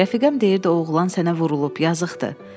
Rəfiqəm deyirdi o oğlan sənə vurulub, yazıqdır.